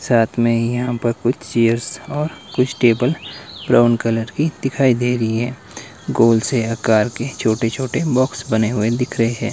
साथ में ही यहां पर कुछ चीज और कुछ टेबल ब्राउन कलर की दिखाई दे रही है गोल से आकर के छोटे छोटे बॉक्स बने हुए दिख रहे हैं।